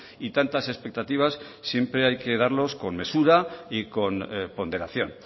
y tantas expectativas siempre hay que darlos con mesura y con ponderación